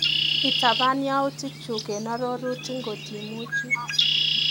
Itapan yautikchu eng arorutik ngotimuchii.